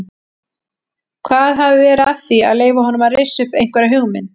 Hvað hafi verið að því að leyfa honum að rissa upp einhverja hugmynd?